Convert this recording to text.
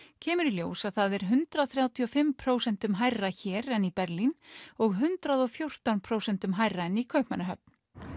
kemur í ljós að það er hundrað þrjátíu og fimm prósentum hærra hér en í Berlín og hundrað og fjórtán prósentum hærra en í Kaupmannahöfn